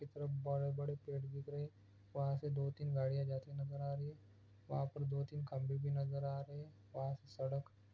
कितने बड़े-बड़े पेड़ दिख रहे है वहां से दो तीन गाड़िया जाती हुई नजर आ रही है वहां पे दो तीन कमरे भी नजर आ रही है वहां से सड़क--